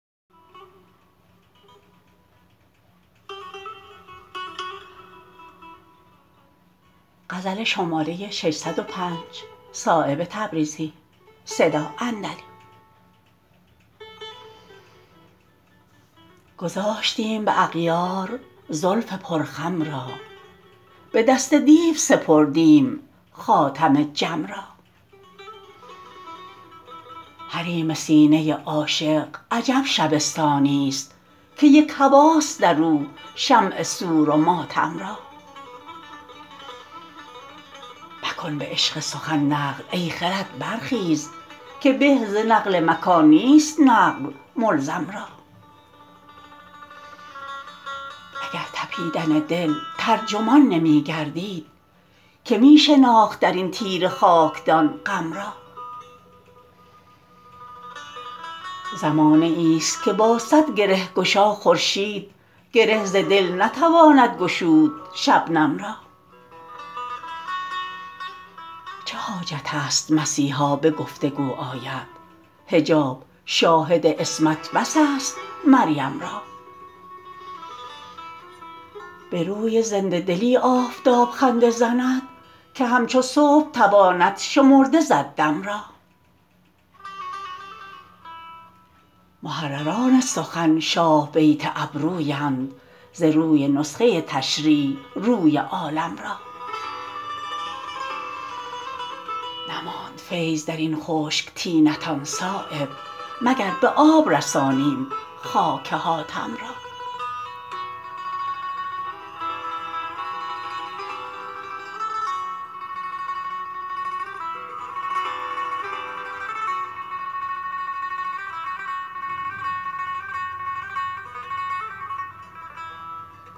گذاشتیم به اغیار زلف پر خم را به دست دیو سپردیم خاتم جم را حریم سینه عاشق عجب شبستانی است که یک هواست در او شمع سور و ماتم را مکن به عشق سخن نقل ای خرد برخیز که به ز نقل مکان نیست نقل ملزم را اگر تپیدن دل ترجمان نمی گردید که می شناخت درین تیره خاکدان غم را زمانه ای است که با صد گره گشا خورشید گره ز دل نتواند گشود شبنم را چه حاجت است مسیحا به گفتگو آید حجاب شاهد عصمت بس است مریم را به روی زنده دلی آفتاب خنده زند که همچو صبح تواند شمرده زد دم را محرران سخن شاه بیت ابرویند ز روی نسخه تشریح روی عالم را نماند فیض درین خشک طینتان صایب مگر به آب رسانیم خاک حاتم را